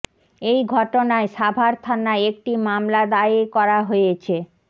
এই ঘটনায় সাভার থানায় একটি মামলা দায়ের করা হয়েছে